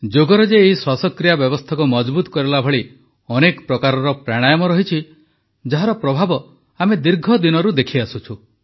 ଯୋଗରେ ଏହି ଶ୍ୱାସକ୍ରିୟା ବ୍ୟବସ୍ଥାକୁ ମଜଭୁତ କରିବା ଭଳି ଅନେକ ପ୍ରକାରର ପ୍ରାଣାୟାମ ରହିଛି ଯାହାର ପ୍ରଭାବ ଆମେ ଦୀର୍ଘଦିନରୁ ଦେଖିଆସୁଛୁ